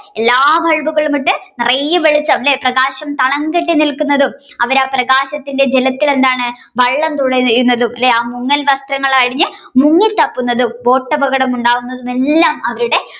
എല്ലാ Bulb കളും ഇട്ട് നിറയെ വെളിച്ചം അല്ലെ പ്രകാശം തളംകെട്ടി നിൽകുന്നതും അവർ ആ പ്രകാശത്തിന്റെ ജലത്തിൽ എന്താണ് വള്ളം തുഴയുന്നതും മുങ്ങൽ വസ്ത്രങ്ങൾ അണിഞ്ഞ് മുങ്ങിത്തപ്പുന്നതും Boat അപകടം ഉണ്ടാകുന്നതും എല്ലാം അവരുടെ